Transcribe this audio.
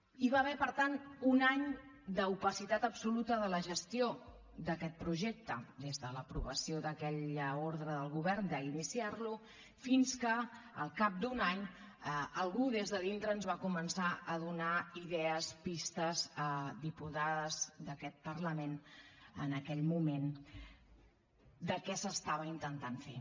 hi va haver per tant un any d’opacitat absoluta de la gestió d’aquest projecte des de l’aprovació d’aquella ordre del govern d’iniciar lo fins que al cap d’un any algú des de dintre ens va començar a donar idees pistes a diputades d’aquest parlament en aquell moment de què s’estava intentant fer